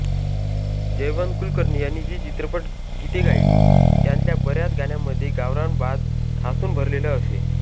जयवंत कुलकर्णी यांनी जी चित्रपट गीते गायली त्यांतल्या बऱ्याच गाण्यांमध्ये गावरान बाज ठासून भरलेला असे